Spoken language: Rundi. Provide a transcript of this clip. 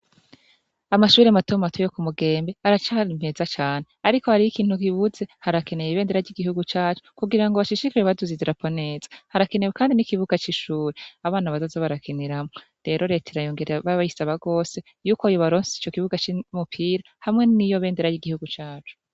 Amashubire matomu batuwe yo ku mugembe aracara mpeza cane, ariko hariyo ikintu kibuze harakeneye ibendera ry'igihugu cacu kugira ngo bashishikaje baduze idraponeza harakenewe, kandi n'ikibuga c'ishure abana bazazobarakeniramwo rero reta irayongereya b'abayise abagose yuko yibaronse ico kibuga c'imupira hamwe n'iyo bendera r'igihugu cacu.